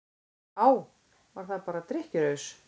Á, var það bara drykkjuraus?